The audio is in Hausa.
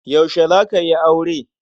Yaushe za ka yi aure?